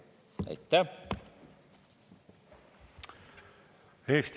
Aitäh!